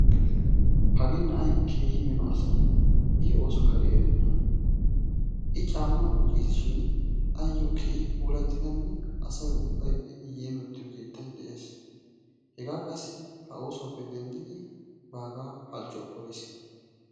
Hagee na'ay keehi mino asa. I ooso kari erenna. I caammaa wqucceessi shin ayo keehi puulatidanne asay ubbay yeemottiyo keetay de'ees. Hegaa qassi ha oosuwappe denddidi baagaa halchchuwa poliis.